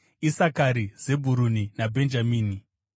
Isakari, Zebhuruni naBhenjamini;